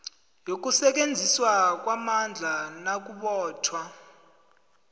yokusetjenziswa kwamandla nakubotjhwa